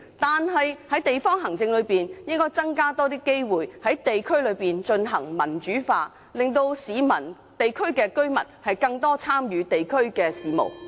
但是，在地方行政方面，區議會應該加強在地區推行民主化，令市民和當區居民能參與更多地區事務。